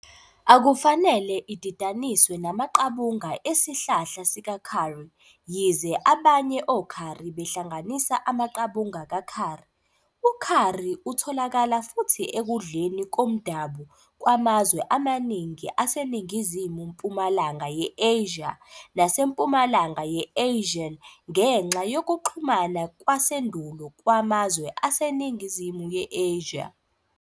Akufanele ididaniswe namaqabunga esihlahla sika-curry, yize abanye o-curry behlanganisa amaqabunga ka-curry. U-Curry utholakala futhi ekudleni komdabu kwamazwe amaningi aseNingizimu-mpumalanga ye-Asia naseMpumalanga ye-Asian ngenxa yokuxhumana kwasendulo kwamazwe aseNingizimu ye-Asia.